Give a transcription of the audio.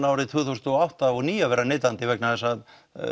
árin tvö þúsund og átta og níu að vera neytandi vegna þess að